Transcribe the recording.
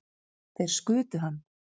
Þeir skutu hann